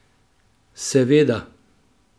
Seveda.